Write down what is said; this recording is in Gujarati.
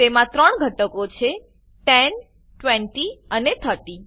તેમાં 3 ઘટકો છે 10 20 અને 30